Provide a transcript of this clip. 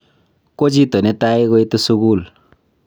ko chito nebo tai koitu sukul